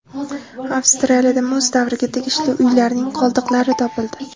Avstraliyada muz davriga tegishli uylarning qoldiqlari topildi.